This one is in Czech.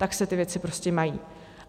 Tak se ty věci prostě mají.